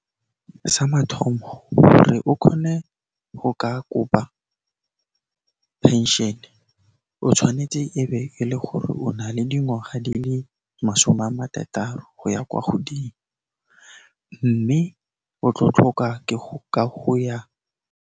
Sa mathomo gore o kgone go ka kopa pension, o tshwanetse e be e le gore o na le dingwaga di le masome a marataro go ya kwa godimo, mme o tlo tlhoka ka go ya.